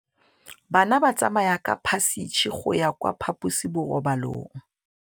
Bana ba tsamaya ka phašitshe go ya kwa phaposiborobalong.